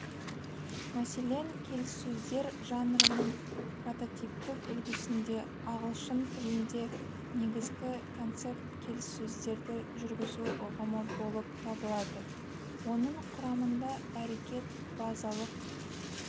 мәселен келіссөздер жанрының прототиптік үлгісінде ағылшын тілінде негізгі концепт келіссөздерді жүргізу ұғымы болып табылады оның құрамында әрекет базалық